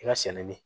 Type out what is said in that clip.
I ka sɛnɛ